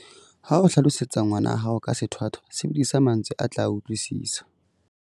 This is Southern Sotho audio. Ha o hlalosetsa ngwana hao ka sethwathwa, sebedisa mantswe a tla a utlwisisa.